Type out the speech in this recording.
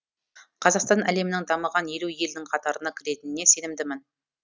қазақстан әлемнің дамыған елу елінің қатарына кіретініне сенімдімін